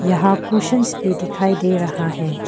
यहां क्यूसेंस दिखाई दे रहा है।